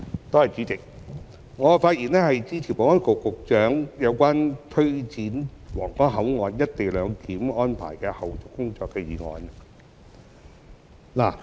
代理主席，我發言支持保安局局長提出有關推展皇崗口岸「一地兩檢」安排的後續工作的議案。